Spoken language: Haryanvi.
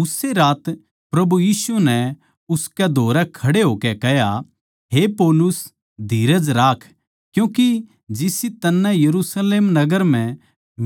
उस्से रात प्रभु यीशु नै उसकै धोरै खड़े होकै कह्या हे पौलुस धीरज राख क्यूँके जिसी तन्नै यरुशलेम नगर म्ह